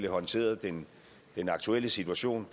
håndteret den aktuelle situation